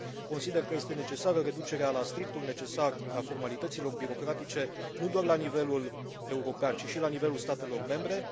Consider că este imperativă reducerea la strictul necesar a formalităților birocratice, nu doar la nivelul european, ci și la nivelul statelor membre.